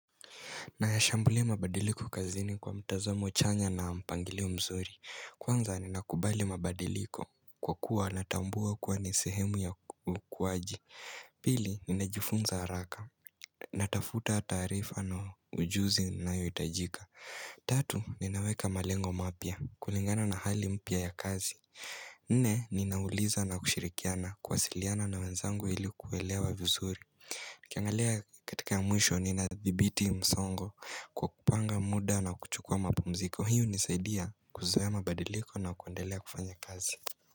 Nayashambulia mabadiliko kazini kwa mtazamo chanya na mpangilio mzuri. Kwanza ninakubali mabadiliko kwa kuwa natambua kuwa ni sehemu ya ukuwaji Pili, ninajifunza haraka. Natafuta taarifa na ujuzi nayoitajika. Tatu, ninaweka malengo mapya kulingana na hali mpya ya kazi. Nne, ninauliza na kushirikiana, kuwasiliana na wanzangu ili kuelewa vizuri. Nikiangalia katika mwisho nina dhibiti msongo kwa kupanga muda na kuchukua mapumziko hiyo unisaidia kuzoea mabadiliko na kuendelea kufanya kazi.